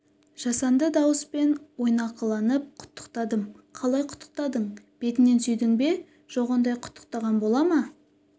жасанды дауыспен ойнақыланып құттықтадым қалай құттықтадың бетінен сүйдің бе жоқ ондай құттықтаған бола ма